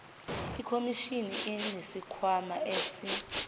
ikhomishini inesikhwama esi